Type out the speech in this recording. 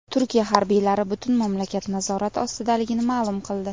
Turkiya harbiylari butun mamlakat nazorat ostidaligini ma’lum qildi.